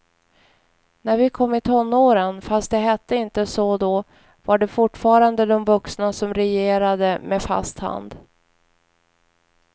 När vi kom i tonåren, fast det hette inte så då, var det fortfarande de vuxna som regerade med fast hand.